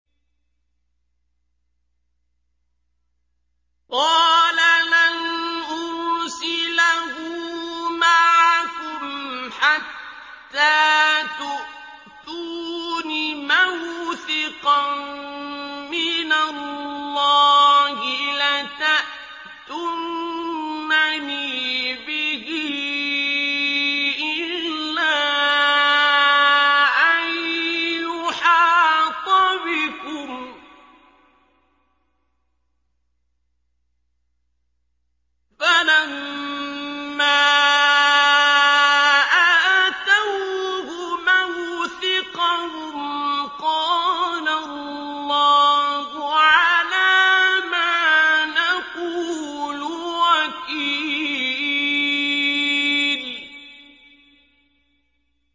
قَالَ لَنْ أُرْسِلَهُ مَعَكُمْ حَتَّىٰ تُؤْتُونِ مَوْثِقًا مِّنَ اللَّهِ لَتَأْتُنَّنِي بِهِ إِلَّا أَن يُحَاطَ بِكُمْ ۖ فَلَمَّا آتَوْهُ مَوْثِقَهُمْ قَالَ اللَّهُ عَلَىٰ مَا نَقُولُ وَكِيلٌ